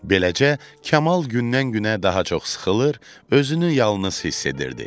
Beləcə, Kamal gündən-günə daha çox sıxılır, özünü yalnız hiss edirdi.